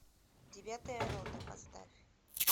девятая рота поставь